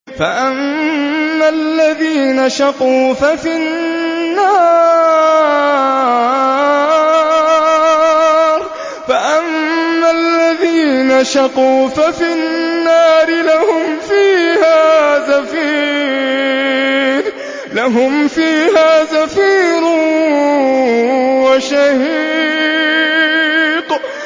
فَأَمَّا الَّذِينَ شَقُوا فَفِي النَّارِ لَهُمْ فِيهَا زَفِيرٌ وَشَهِيقٌ